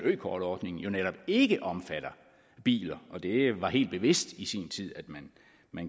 økortordningen netop ikke omfatter biler det var helt bevidst i sin tid